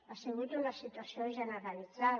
ha sigut una situació generalitzada